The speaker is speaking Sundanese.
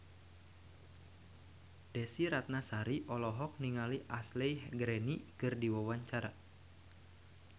Desy Ratnasari olohok ningali Ashley Greene keur diwawancara